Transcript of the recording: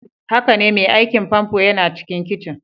Haka ne, mai aikin famfo yana cikin kicin.